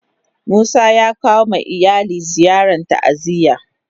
Musa ya kawo ma iyali ziyarn ta'aziyya.